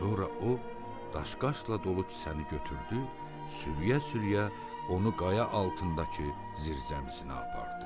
Sonra o daş-qaşla dolu kisəni götürdü, sürüyə-sürüyə onu qaya altındakı zirzəmisinə apardı.